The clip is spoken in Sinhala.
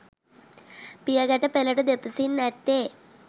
පියගැටපෙළට දෙපසින් ඇත්තේ